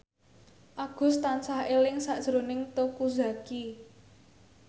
Agus tansah eling sakjroning Teuku Zacky